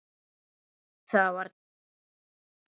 """Það var tík, sagði hann lágt."""